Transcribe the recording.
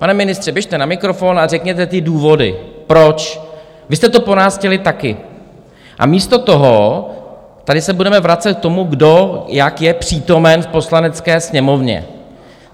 Pane ministře, běžte na mikrofon a řekněte ty důvody, proč, vy jste to po nás chtěli taky, a místo toho se tady budeme vracet k tomu, kdo jak je přítomen v Poslanecké sněmovně.